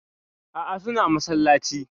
Aa, suna masallacin.